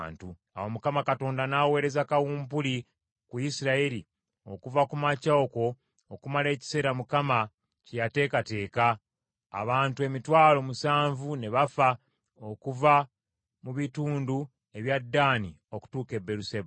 Awo Mukama Katonda n’aweereza kawumpuli ku Isirayiri okuva ku makya okwo okumala ekiseera Mukama kye yateekateeka, abantu emitwalo musanvu ne bafa okuva mu bitundu ebya Ddaani okutuuka e Beeruseba.